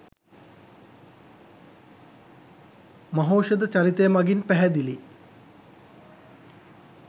මහෞෂධ චරිතය මගින් පැහැදිලි